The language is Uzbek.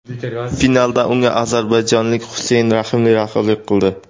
Finalda unga ozarbayjonlik Xuseyn Raximli raqiblik qildi.